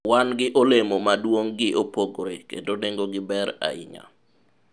wan gi olemo ma duong' gi opogore kendo nengo gi ber ahinya